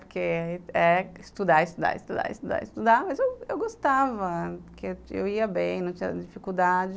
Porque é estudar, estudar, estudar, estudar, estudar, mas eu eu gostava, porque eu ia bem, não tinha dificuldade,